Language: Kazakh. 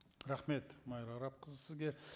рахмет майра арапқызы сізге